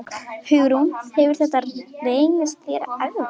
Hugrún: Hefur þetta reynst þér erfitt?